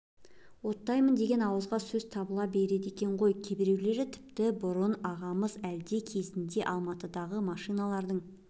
оттаймын деген ауызға сөз табыла береді екен ғой кейбіреулері тіпті бұрын ағамыз әлде кезінде алматыдағы машиналардың